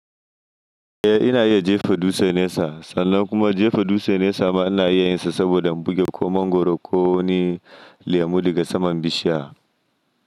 Eh ina iya jefa dutse nesa, sannan kuma jefa dutse nesa ma ana iya yin sa saboda an buge ko mangwaro ko wani lemu daga saman bishiya.